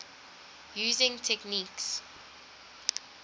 using techniques